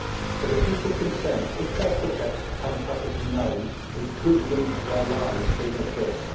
For the people concerned, if their projects become publicly known it could lead to their lives being at risk.